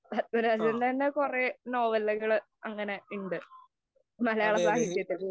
പത്മരാജന്‍റെ തന്നെ കൊറേ നോവലുകള്‍ അങ്ങനെ ഇണ്ട്. മലയാള സാഹിത്യത്തില്‍.